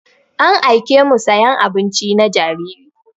An aiƙe mu sayan abinci na jariri.